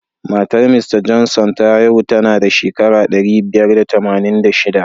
Matar Mista Johnson ta haihu tanada shekara ɗari biyar da tamanin da shiɗa.